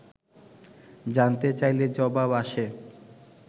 জানতে চাইলে জবাব আসে